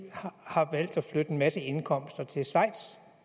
flytte en masse indkomster til schweiz